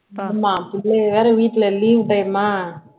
ஆமா பிள்ளைக வேற வீட்டுல leave time அ